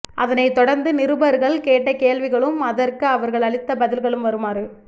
அதனைத் தொடர்ந்து நிருபர்கள் கேட்ட கேள்விகளும் அதற்கு அவர்கள் அளித்த பதில்களும் வருமாறு